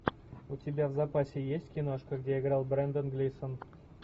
у тебя в запасе есть киношка где играл брендан глисон